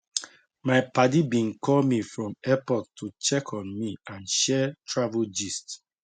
my padi been call me from airport to check on me and share travel gist